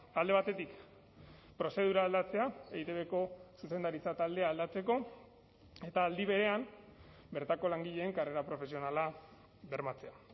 alde batetik prozedura aldatzea eitbko zuzendaritza taldea aldatzeko eta aldi berean bertako langileen karrera profesionala bermatzea